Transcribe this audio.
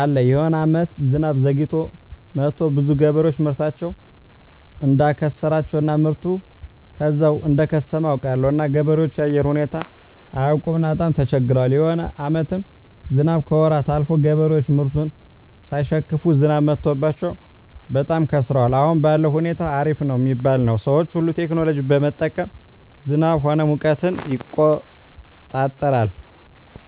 አለ የሆነ አመታት ዝናብ ዘግይቶ መጥቱ ብዙዎች ገበሬዎች ምርታቸውን እዳከሰራቸው እና ምርቱ ከዛው እደከሰመ አውቃለሁ እና ገበሬዎች የአየር ሁኔታው አያውቅምና በጣም ተቸግረዋል የሆነ አመታትም ዝናብ ከወራት አልፎ ገበሬዎች ምርቱን ሳይሸክፋ ዝናብ መትቶባቸው በጣም ከስረዋል አሁን ባለዉ ሁኔታ አሪፍ ነው ሚባል ነው ሰዎች ሁሉ ቴክኖሎጂ በመጠቀም ዝናብ ሆነ ሙቀትን ይቆጠራል